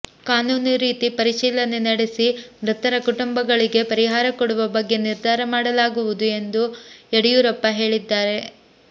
ಕಾನೂನು ರೀತಿ ಪರಿಶೀಲನೆ ನಡೆಸಿ ಮೃತರ ಕುಟುಂಬಗಳಿಗೆ ಪರಿಹಾರ ಕೊಡುವ ಬಗ್ಗೆ ನಿರ್ಧಾರ ಮಾಡಲಾಗುವುದು ಎಂದು ಯಡಿಯೂರಪ್ಪ ಹೇಳಿದ್ದಾರೆ